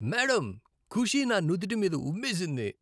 Madam, Khushi నా నుదుటి మీద ఉమ్మేసింది.